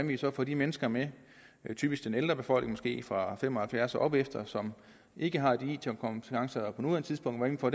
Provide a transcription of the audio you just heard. vi så får de mennesker med typisk den ældre befolkning fra fem og halvfjerds år og opefter som ikke har it kompetencer på nuværende tidspunkt hvordan får